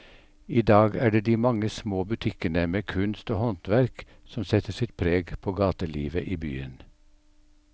I dag er det de mange små butikkene med kunst og håndverk som setter sitt preg på gatelivet i byen.